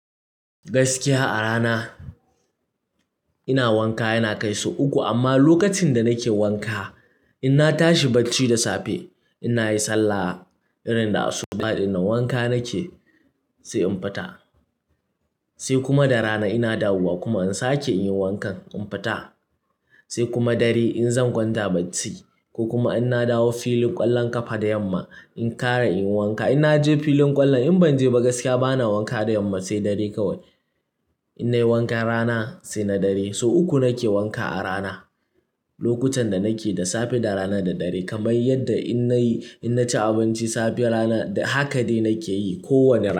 Gaskiya a rana ina wanka yana kai sau uku. Amma lokacin da nake wanka, in na tashi bacci da safe, ina yin sallah irin da asuba ɗin nan wanka nake sai in fita. Sai kuma da rana ina dawowa kuma in sake in yi wankan, in fita. Sai kuma dare in zan gwanta bacci ko kuma in na dawo filin ƙwallon ƙafa da yamma, in ƙara in yi wanka. In na je filin ƙwallon in ban je ba gaskiya bana wanka da yamma sai dare kawai. In nayi wankan rana sai na dare. Sau uku nake wanka a rana. Lokutan da nake da safe, da rana da dare. Kamar yadda in nayi, in naci abinci safe rana haka dai nake yi ko wanne rana.